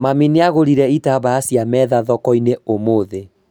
Mami nĩagũrire itambaya cia metha thoko-inĩ ũmũthĩ